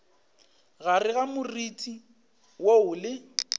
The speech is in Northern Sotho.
gare ga moriti woo le